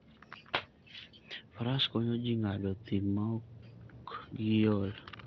Faras konyo ji ng'ado thim maok giol.